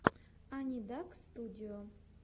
анидакстудио